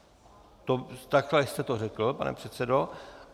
Takhle jste to řekl, pane předsedo.